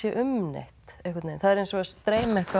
um neitt það er eins og að dreyma eitthvað